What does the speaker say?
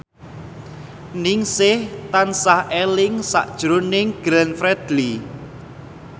Ningsih tansah eling sakjroning Glenn Fredly